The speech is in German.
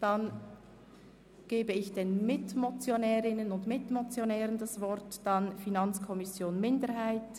Dann erteile ich den Mitmotionärinnen und Mitmotionären das Wort und schliesslich der FiKo-Minderheit.